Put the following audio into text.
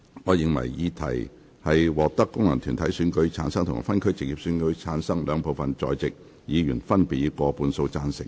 我認為議題獲得經由功能團體選舉產生及分區直接選舉產生的兩部分在席議員，分別以過半數贊成。